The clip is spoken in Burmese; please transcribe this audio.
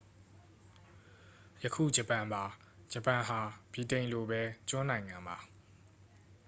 ယခု ဂျပန်ပါ ဂျပန်ဟာ ဗြိတိန်လိုပဲ ကျွန်းနိုင်ငံပါ